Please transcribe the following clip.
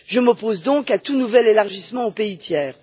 Je m'oppose donc à tout nouvel élargissement aux pays tiers.